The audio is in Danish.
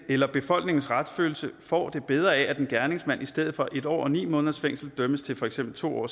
eller befolkningens retsfølelse får det bedre af at en gerningsmand i stedet for en år og ni måneders fængsel dømmes til for eksempel to år